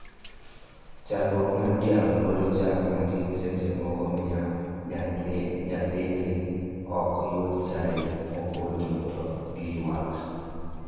Chandruok mar dhiang' golo chak matin seche moko miyo nyithindo ok yud chai mopoto to giywak